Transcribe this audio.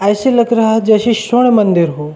ऐसे लग रहा है जैसे शिव मंदिर हो।